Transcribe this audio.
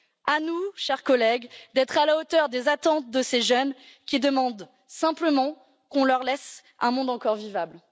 À nous, chers collègues, d'être à la hauteur des attentes de ces jeunes qui demandent simplement qu'on leur laisse un monde encore vivable.